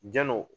Jano